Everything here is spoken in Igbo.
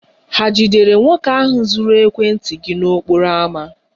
Hà jidere nwoke ahụ zuru ekwentị gị n'okporo ámá?